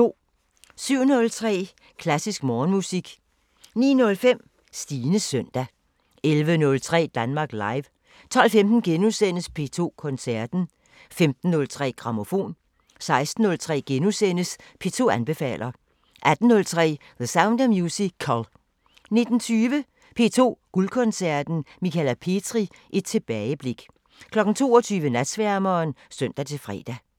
07:03: Klassisk Morgenmusik 09:05: Stines søndag 11:03: Danmark Live 12:15: P2 Koncerten * 15:03: Grammofon 16:03: P2 anbefaler * 18:03: The Sound of Musical 19:20: P2 Guldkoncerten: Michala Petri – et tilbageblik 22:00: Natsværmeren (søn-fre)